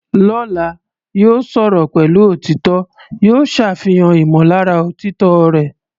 Lọ́la, yóò sọ̀rọ̀ pẹ̀lú òtítọ́, yóò ṣàfihàn ìmọ̀lára òtítọ́ rẹ̀.